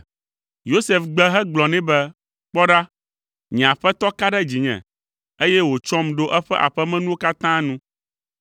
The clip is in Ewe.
Yosef gbe hegblɔ nɛ be, “Kpɔ ɖa, nye aƒetɔ ka ɖe dzinye, eye wòtsɔm ɖo eƒe aƒemenuwo katã nu.